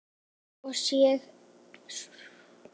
Svo sé einnig nú.